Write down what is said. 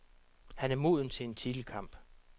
Han er moden til en titelkamp.